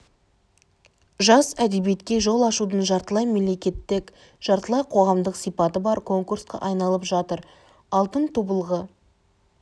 жас әдебиетке жол ашудың жартылай мемлекеттік жартылай қоғамдық сипаты бар конкурсқа айналып жатыр алтық тобылғы